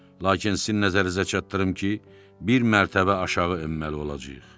Lakin sizin nəzərinizə çatdırım ki, bir mərtəbə aşağı enməli olacağıq.